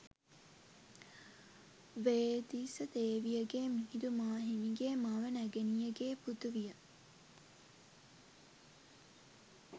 වේදිස දේවිය ගේ මිහිඳු මාහිමිගේ මව නැගණිය ගේ පුතු විය.